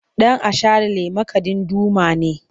Dan’asharalle makadin Duma ne.